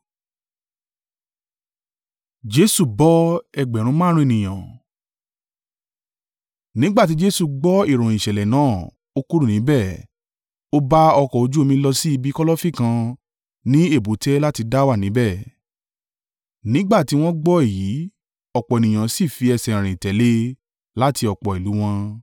Nígbà tí Jesu gbọ́ ìròyìn ìṣẹ̀lẹ̀ náà, ó kúrò níbẹ̀, ó bá ọkọ̀ ojú omi lọ sí ibi kọ́lọ́fín kan ní èbúté láti dá wà níbẹ̀. Nígbà tí wọ́n gbọ́ èyí, ọ̀pọ̀ ènìyàn sì fi ẹsẹ̀ rìn tẹ̀lé e láti ọ̀pọ̀ ìlú wọn.